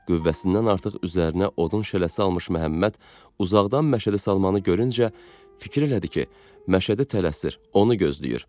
Qüvvəsindən artıq üzərinə odun şələsi almış Məhəmməd uzaqdan Məşədi Salmanı görüncə fikirlədi ki, Məşədi tələsir, onu gözləyir.